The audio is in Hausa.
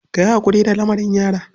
Ka yi haƙuri da lamarin yara.